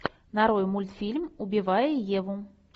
нарой мультфильм убивая еву